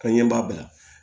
Ka ɲɛ b'a bila